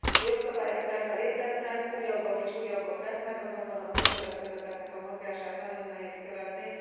Jogszabályok persze léteznek, újabbak és újabbak lesznek, azonban a bűnszövetkezeteknek a mozgását nagyon nehéz követni.